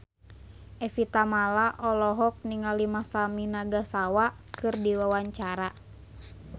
Evie Tamala olohok ningali Masami Nagasawa keur diwawancara